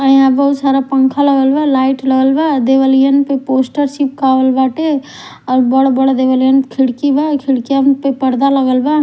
और यहाँ बहुत सारा पंखा लगल बा लाइट लगल बादेवलीयन पर पोस्टर चिपकवाल बाटे और बढ़ बढ़ खिड़की बा --